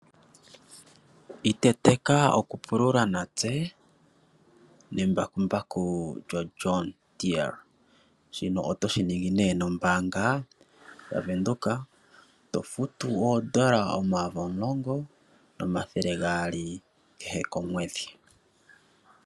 Iteteka okupulula natse nembakumbaku lyoJonh Deere, otoshi ningi ne nombaanga yaVenduka tofutu oodola omayovi 10 200 kehe komwedhi.